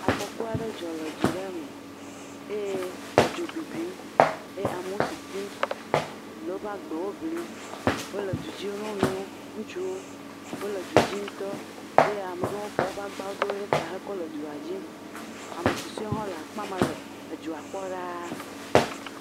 Afɔku aɖe dzɔ le du aɖe me eye edzo bibim eye amewo sisim le woƒe agbewo ŋlim, wole du dzi nyɔnuwo, ŋutsuwo, wole du dzi ŋutɔ eye ame ɖewo fɔ woƒe agbawo ɖe ta kɔ le du dzi eye ame susuewo le akpa ma le wo kpɔm ɖaa.